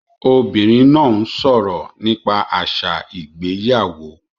Obìnrin náà ń sọ̀rọ̀ nípa àṣà ìgbéyàwó